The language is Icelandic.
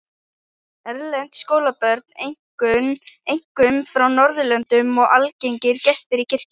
Erlend skólabörn, einkum frá Norðurlöndum, eru algengir gestir í kirkjunni.